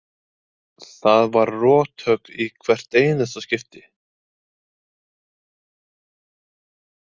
Það var rothögg í hvert einasta skipti.